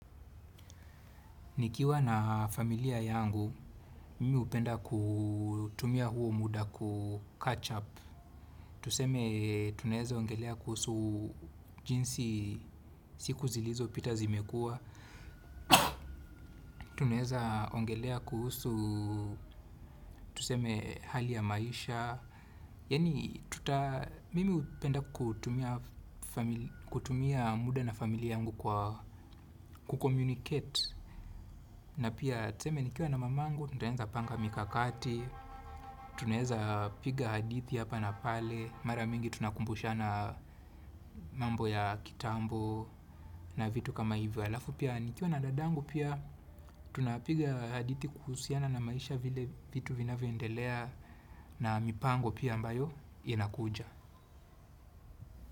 Nikiwa na familia yangu, mimi hupenda kutumia huo muda kucatch up. Tuseme, tunaweza ongelea kuhusu jinsi siku zilizopita zimekuwa. Tuneheza ongelea kuhusu, tuseme, hali ya maisha. Yaani, mimi hupenda kutumia muda na familia yangu kucommunicate. Na pia tuseme nikiwa na mamangu, tunaweza panga mikakati, tunaweza piga hadithi hapa na pale, mara mingi tunakumbushana mambo ya kitambo na vitu kama hivyo. Alafu pia nikiwa na dadangu pia, tunapiga hadithi kuhusiana na maisha vile vitu vinavyoendelea na mipango pia ambayo inakuja.